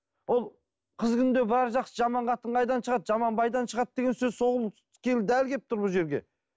ол қыз күнінде бәрі жақсы жаман қатын қайдан шығады жаман байдан шығады деген сөз сол дәл келіп тұр бұл жерге